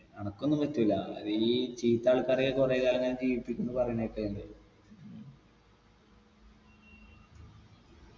അനക്കൊന്നും പറ്റൂല ഈ ചീത്താൾക്കാരെയൊക്കെ കൊറേ കാലം ഇങ്ങനെ ജീവിപ്പിക്കുംന്ന് പറയുന്ന കേക്കലിണ്ട്